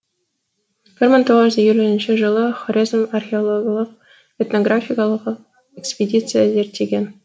бір мың тоғыз жүз елуінші жылы хорезм археологиялық этнографикалық экспедиция зерттеген